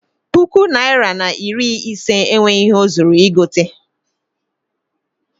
Puku naịra na iri ise enweghị ihe o zuru igote.